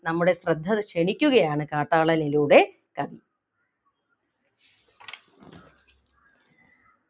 നമ്മുടെ ശ്രദ്ധ ക്ഷണിക്കുകയാണ് കാട്ടാളനിലൂടെ കവി